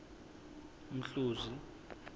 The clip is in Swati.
mhluzi